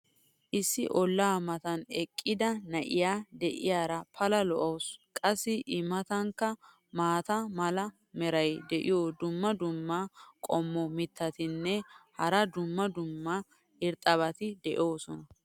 issi olaa matan eqqida na'iyaa diyaara pala lo'awusu. qassi i matankka maata mala meray diyo dumma dumma qommo mitattinne hara dumma dumma irxxabati de'oosona.